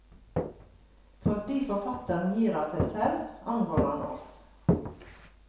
Fordi forfatteren gir av seg selv, angår han oss.